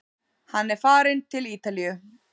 Hann er farinn til Ítalíu!